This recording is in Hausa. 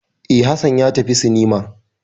E, Hassan ya tafi cinema.